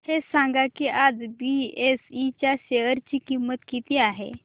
हे सांगा की आज बीएसई च्या शेअर ची किंमत किती आहे